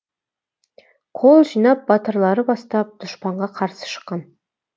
қол жинап батырлары бастап дұшпанға қарсы шыққан